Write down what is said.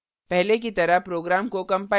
पहले की तरह program को कंपाइल करें